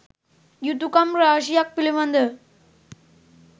යුතුකම් රාශියක් පිළිබඳව